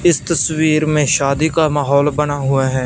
इस तस्वीर में शादी का माहौल बना हुआ है।